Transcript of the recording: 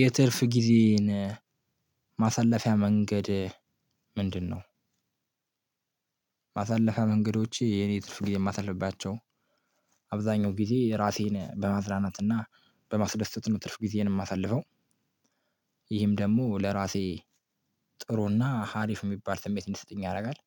የትርፍ ጊዜን ማሳለፊያ መንገድ ምንድነው? ማሳለፊያ መንገዶቼ የኔ ትርፍ ጊዜ የማሳልፍባቸው አብዛኛው ጊዜ ራሴን በማዝናናትና በማስደሰት ነው ትርፍ ጊዜዬን የማሳልፈው። ይህም ደግሞ ለራሴ ጥሩና ሀሪፍ የሚባል ስሜት እንዲሰጠኝ ያደርጋል።